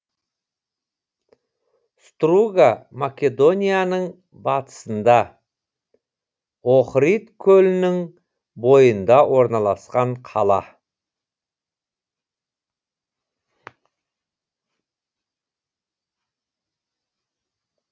струга македонияның батысында охрид көлінің бойында орналасқан қала